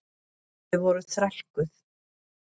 Þau voru þrælkuð.